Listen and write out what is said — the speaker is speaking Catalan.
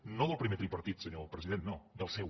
no del primer tripartit senyor president no del seu